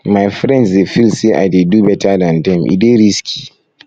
my friends dey feel say i dey do beta dan dem e dey risky